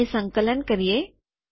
તેને સંકલન કરીએ